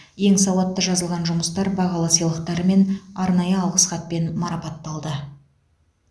ең сауатты жазылған жұмыстар бағалы сыйлықтармен арнайы алғыс хатпен марапатталды